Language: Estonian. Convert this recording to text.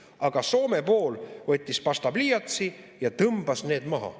Aga Soome pool võttis pastapliiatsi ja tõmbas need maha.